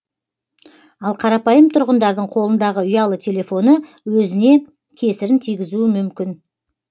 ал қарапайым тұрғындардың қолындағы ұялы телефоны өзіне кесірін тигізуі мүмкін